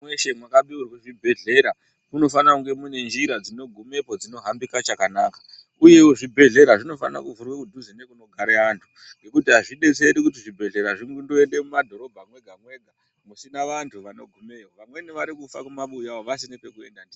Mweshe mweshe mwakapiwe zvibhedhlera, munofanira kuva mune njira dzinogumepo dzinohambika chakanaka, uyewo zvibhedhlera zvinofana kuvhurwa kudhuze nekunogare antu ,ngekuti azvidetseri kuti zvibhedhlera zvindoende mumadhorobha mwega-mwega, musina vantu vanogumeyo Vamweni vari kufa mumabuya umu, vasine kwekuenda ndikwo.